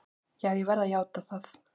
Já, ég verð að játa það.